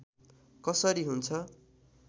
कसरी हुन्छ